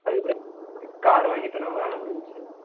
அதுக்கப்புறம் car வாங்கிட்டோம்ன்னா வேலை முடிஞ்சுச்சு